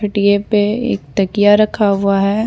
खटिये पे एक तकिया रखा हुआ है।